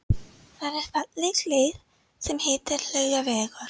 Það er falleg leið sem heitir Laugavegur.